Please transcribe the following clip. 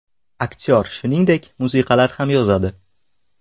Aktyor shuningdek, musiqalar ham yozadi.